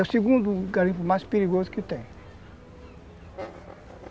É o segundo garimpo mais perigoso que tem.